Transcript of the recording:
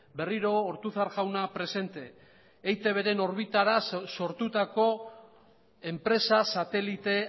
berriro ortuzar jauna presente eitbren orbitara sortutako enpresa satelite